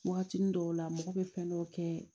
Waagatinin dɔw la mɔgɔ bɛ fɛn dɔw kɛ